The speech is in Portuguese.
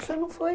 Você não foi.